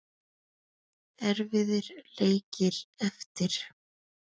Erfiðir leikir eftir.